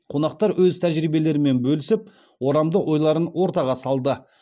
қонақтар өз тәжірибелерімен бөлісіп орамды ойларын ортаға салды